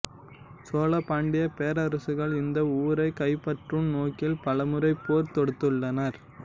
சோழ பாண்டிய பேரரசுகள் இந்த ஊரை கைப்பற்றும் நோக்கில் பலமுறை போர் தொடுத்துள்ளனர்